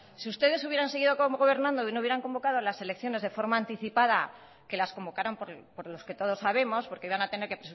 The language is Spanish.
si ustedes hubieran seguido gobernando y no hubieran convocado las elecciones de forma anticipada que las convocaron por los que todos sabemos porque iban a tener que